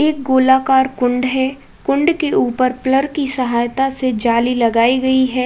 एक गोलाकार कुंड है। कुंड के ऊपर की सहायता से जाली लगाई गई है।